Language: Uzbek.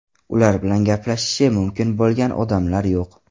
Ular bilan gaplashishi mumkin bo‘lgan odamlar yo‘q.